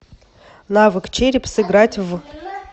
навык череп сыграть в